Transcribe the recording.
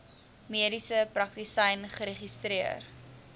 mediese praktisyn geregistreer